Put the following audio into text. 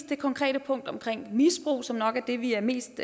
det konkrete punkt omkring misbrug som nok er det vi er mest